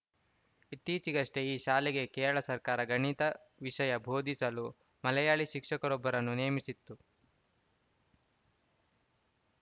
ಇತ್ತೀಚೆಗಷ್ಟೇ ಈ ಶಾಲೆಗೆ ಕೇರಳ ಸರ್ಕಾರ ಗಣಿತ ವಿಷಯ ಬೋಧಿಸಲು ಮಲಯಾಳಿ ಶಿಕ್ಷಕರೊಬ್ಬರನ್ನು ನೇಮಿಸಿತ್ತು